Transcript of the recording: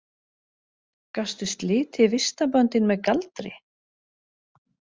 Gastu slitið vistarböndin með galdri?